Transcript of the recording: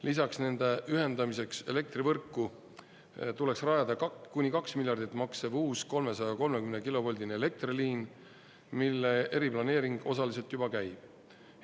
Lisaks nende ühendamiseks elektrivõrku tuleks rajada kuni kaks miljardit maksev uus 330-kilovoldine elektriliin, mille eriplaneering osaliselt juba käib.